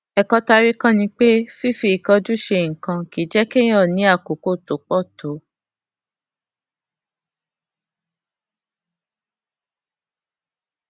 èkó tá a rí kó ni pé fífi ìkánjú ṣe nǹkan kì í jé kéèyàn ní àkókò tó pò tó